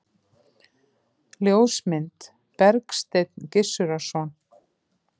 Ljósmynd: Bergsteinn Gizurarson.